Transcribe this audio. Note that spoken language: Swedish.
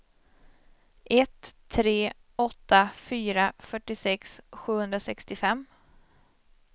ett tre åtta fyra fyrtiosex sjuhundrasextiofem